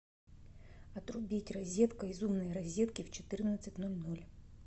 отрубить розетка из умной розетки в четырнадцать ноль ноль